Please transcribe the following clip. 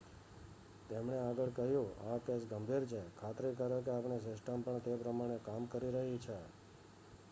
"તેમણે આગળ કહ્યું "આ કેસ ગંભીર છે. ખાતરી કરો કે આપણી સિસ્ટમ પણ તે પ્રમાણે કામ કરી રહી છે.""